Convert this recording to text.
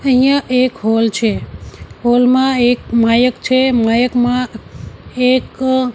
અહિંયા એક હૉલ છે હૉલ મા એક માયક છે માયક માં એક--